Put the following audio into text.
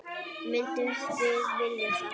Myndum við vilja það?